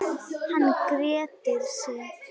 Hann grettir sig.